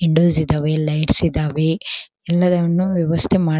Windows ಇದಾವೆ lights ಇದಾವೆ ಎಲ್ಲವನ್ನು ವ್ಯವಸ್ಥೆ ಮಾಡ--